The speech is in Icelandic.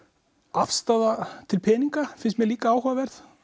afstaða til peninga finnst mér líka áhugaverð